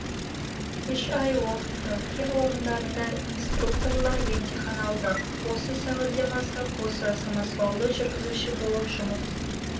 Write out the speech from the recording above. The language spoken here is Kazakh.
үш ай оқытты кен орындарында интрукторлар емтихан алды осы сәуірден бастап осы самосвалды жүргізуші болып жұмыс